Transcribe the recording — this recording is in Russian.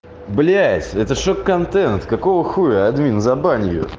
блять это шок-контент какого хуя админ забань её